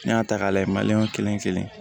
N'i y'a ta k'a layɛ kelen kelen